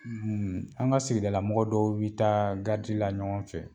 an ka sigida lamɔgɔ dɔw bɛ taa garidi la ɲɔgɔn fɛ.